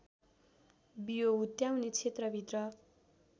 बियो हुत्याउने क्षेत्रभित्र